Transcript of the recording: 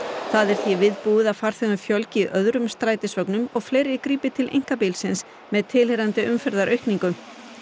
það er því viðbúið að farþegum fjölgi í öðrum strætisvögnum og fleiri grípi til einkabílsins með tilheyrandi umferðaraukningu